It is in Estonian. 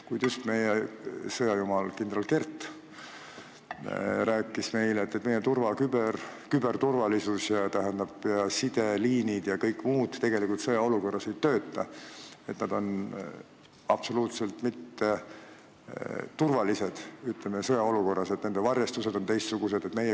Kuid meie sõjajumal kindral Kert just rääkis meile, et meie küberturvalisus, sideliinid ja kõik muud asjad tegelikult sõjaolukorras ei tööta, nad on absoluutselt mitteturvalised sõjaolukorras, nende varjestused on teistsugused.